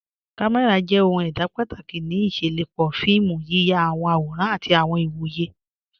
Kàmẹ́ra jẹ̀ ohun èdá pátákì ní ìṣẹ̀lọpọ́ fíìmù, yíyà àwọn àwòrán àtì àwọn ìwọ̀yẹ̀.